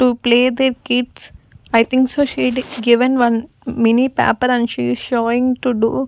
to play their kids i think so given one mini paper and she is showing to do--